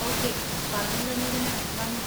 Okay, പറഞ്ഞുതന്നതിന് നന്ദി.